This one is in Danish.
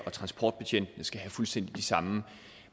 og transportbetjentene skal have fuldstændig de samme